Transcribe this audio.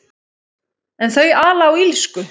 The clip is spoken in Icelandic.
En þau ala á illsku.